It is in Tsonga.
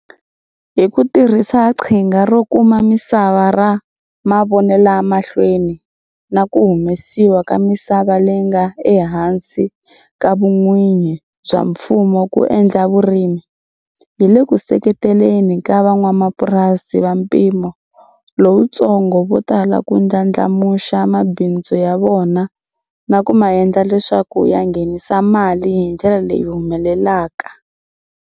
Hi ku tirhisa Qhinga ro Kuma Misava ra Mavonelamahlweni na ku humesiwa ka misava leyi nga ehansi ka vun'wini bya mfumo ku endla vurimi, hi le ku seketeleni ka van'wamapurasi va mpimo lowutsongo vo tala ku ndlandlamuxa mabindzu ya vona na ku ma endla leswaku ya nghenisa mali hi ndlela leyi humelelaka.